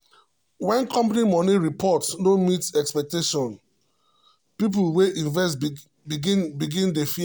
when company money report no meet expectation people wey invest begin begin dey fear.